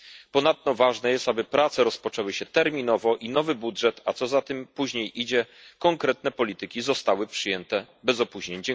Ponadto ważne jest, aby prace rozpoczęły się terminowo i aby nowy budżet, a co za tym później idzie, konkretne polityki zostały przyjęte bez opóźnień.